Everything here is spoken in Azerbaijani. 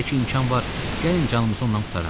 Hələ ki imkan var, gəlin canımızı ondan qurtaraq.